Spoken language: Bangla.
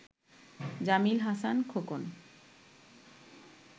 জামিল হাসান খোকন